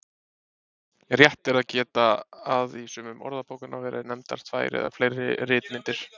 Rétt er að geta að í sumum orðabókanna voru nefndar tvær eða fleiri ritmyndir.